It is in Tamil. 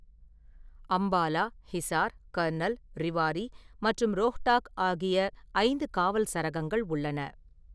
அம்பாலா, ஹிசார், கர்னல், ரேவாரி மற்றும் ரோஹ்தக் ஆகிய ஐந்து காவல் சரகங்கள் உள்ளன.